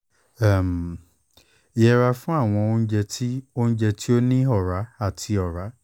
um yẹra fun awọn ounjẹ ti ounjẹ ti o ni ọra ati ọra